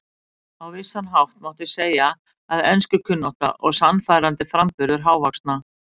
Á vissan hátt mátti segja að enskukunnátta og sannfærandi framburður hávaxna